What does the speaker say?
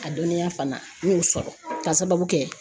A dɔnniya fana n y'o sɔrɔ ka sababu kɛ